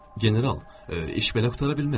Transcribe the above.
General, iş belə qurtara bilməz.